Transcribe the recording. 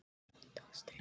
Ása brosir líka.